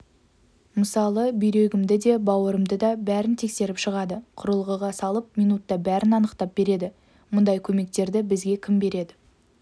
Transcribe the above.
мысалы бүйрегімді де бауырымды да бәрін тексеріп шығады құрылғыға салып минутта бәрін анықтап береді мұндай көмектерді бізге кім береді